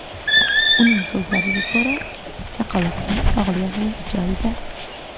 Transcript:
Uning so‘zlariga ko‘ra, chaqaloqning sog‘lig‘i joyida.